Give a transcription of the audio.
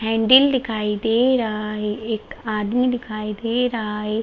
Handle दिखाई दे रहा है एक आदमी दिखाई दे रहा है ।